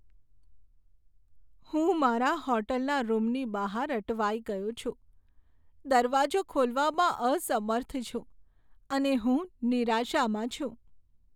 હું મારા હોટલના રૂમની બહાર અટવાઈ ગયો છું, દરવાજો ખોલવામાં અસમર્થ છું અને હું નિરાશામાં છું.